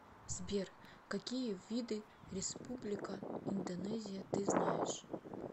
сбер какие виды республика индонезия ты знаешь